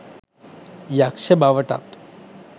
යක්ෂ බවටත්